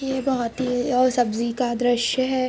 ये बोहोत ही और सब्जी का दृश्य है।